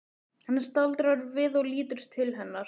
Hann staldrar við og lítur til hennar.